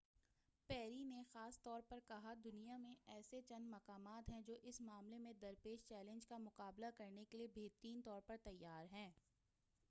پیری نے خاص طور پر کہا دنیا میں ایسے چند مقامات ہیں جو اس معاملے میں درپیش چیلنج کا مقابلہ کرنے کیلئے بہتر طور پر تیار ہیں